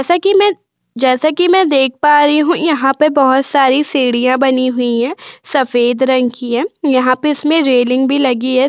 जैसा कि मैं जैसा कि मैं देख पा रही हूं यहां पे बहुत सारी सीढ़ियां बनी हुई है। सफेद रंग की है यहां पे इसमें रेलिंग भी लगी है।